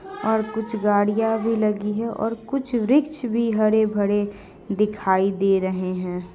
ओर कुछ गड़िया भी लगी है ओर कुछ वृक्ष भी हरे-भरे दिखाई दे रहै है।